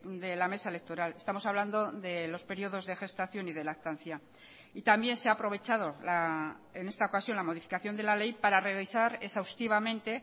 de la mesa electoral estamos hablando de los periodos de gestación y de lactancia y también se ha aprovechado en esta ocasión la modificación de la ley para revisar exhaustivamente